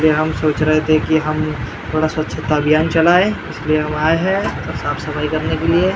हम सोच रहे थे की हम थोड़ा स्वच्छता अभियान चलाए इसलिए हम आए हैं साफ सफाई करने के लिए ।